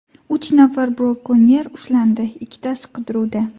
Uch nafar brakonyer ushlandi, ikkitasi qidiruvda.